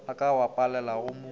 a ka ba palelago mo